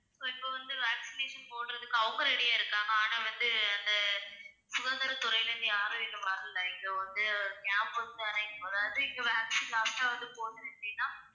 so இப்ப வந்து vaccination போடுறதுக்கு அவங்க ready யா இருக்காங்க ஆனா வந்து அந்தச் சுகாதாரத்துறையில இருந்து யாரும் இன்னும் வரல இங்க வந்து அதாவது இங்க vaccine last ஆ வந்து போட்டது எப்படின்னா